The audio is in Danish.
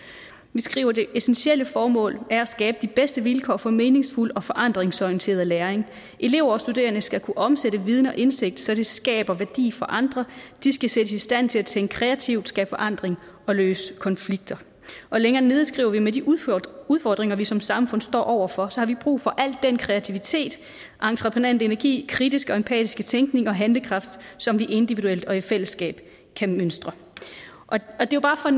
vi skriver det essentielle formål er at skabe de bedste vilkår for meningsfuld og forandringsorienteret læring elever og studerende skal kunne omsætte viden og indsigt så det skaber værdi for andre de skal sættes i stand til at tænke kreativt skabe forandring og løse konflikter længere nede skriver vi med de udfordringer udfordringer vi som samfund står over for har vi brug for al den kreativitet entreprenante energi kritiske og empatiske tænkning og handlekraft som vi individuelt og i fællesskab kan mønstre det er jo bare for